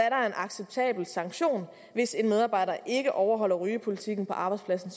acceptabel sanktion hvis en medarbejder ikke overholder rygepolitikken på arbejdspladsen